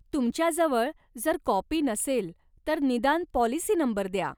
तुमच्याजवळ जर काॅपी नसेल, तर निदान पाॅलिसी नंबर द्या.